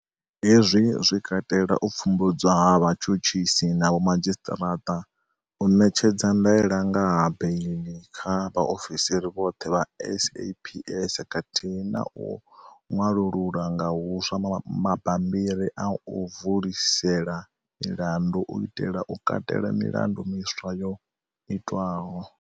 Hezwi zwi katela u pfumbudzwa ha vhatshutshisi na vho madzhisiṱa raṱa, u ṋetshedza ndaela nga ha beiḽi kha vha ofisiri vhoṱhe vha SAPS, khathihi na u ṅwalulula nga huswa mabambiri a u vulisela milandu u itela u katela milandu miswa yo itwaho.